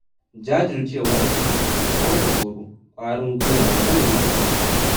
Jajircewa ita ce take kawar da tsoro, ƙwarin guiwa ya zame maka makami.